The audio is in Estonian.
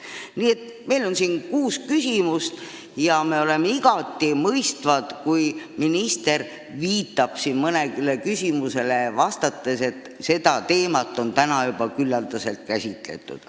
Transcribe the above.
Nii et meil on siin kuus küsimust ja me oleme igati mõistvad, kui minister viitab mõnele küsimusele vastates, et seda teemat on täna juba küllaldaselt käsitletud.